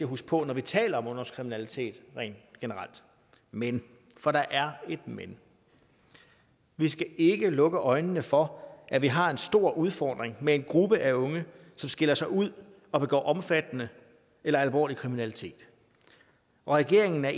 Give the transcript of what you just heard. huske på når vi taler om ungdomskriminalitet rent generelt men for der er et men vi skal ikke lukke øjnene for at vi har en stor udfordring med en gruppe af unge som skiller sig ud og begår omfattende eller alvorlig kriminalitet regeringen er